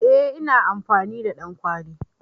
Eh ina amfani da ɗankwali.